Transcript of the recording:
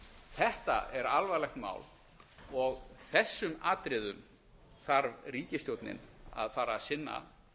þetta er alvarlegt mál og þessum atriðum þarf ríkisstjórnin að fara að sinna